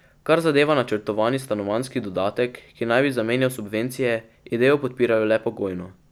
Kar zadeva načrtovani stanovanjski dodatek, ki naj bi zamenjal subvencije, idejo podpirajo le pogojno.